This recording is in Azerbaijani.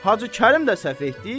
Hacı Kərim də səhv etdi?